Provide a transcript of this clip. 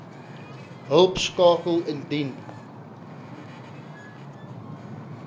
hulp skakel indien